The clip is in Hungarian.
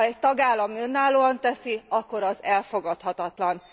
Ha egy tagállam önállóan teszi, akkor az elfogadhatatlan.